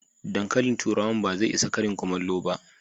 Dankalin turawan ba zai isa Karin kullamo ba.